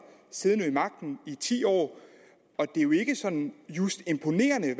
siddende ved magten i ti år og det er jo ikke sådan just imponerende